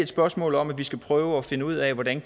spørgsmål om at vi skal prøve at finde ud af hvordan